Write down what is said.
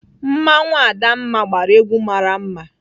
Mmanwụ Adamma gbara egwu mara mma.